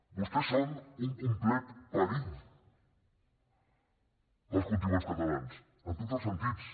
vostès són un complet perill per als contribuents catalans en tots els sentits